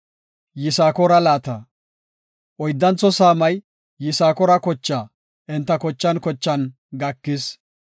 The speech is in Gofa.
Oyddantho saamay Yisakoora kochaa enta kochan kochan gakis.